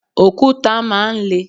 Òkúta máa ń le.